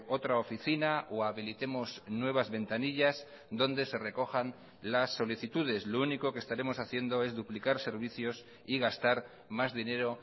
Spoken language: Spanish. otra oficina o habilitemos nuevas ventanillas donde se recojan las solicitudes lo único que estaremos haciendo es duplicar servicios y gastar más dinero